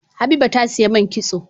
Habiba ta siya man kitso